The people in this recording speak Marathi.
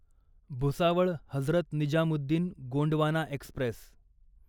भुसावळ हजरत निजामुद्दीन गोंडवाना एक्स्प्रेस